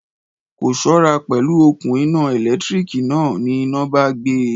Kò ṣọ́ra pẹ̀lú òkun iná ẹ̀lẹ́tíríkì náà, ní iná bá gbe.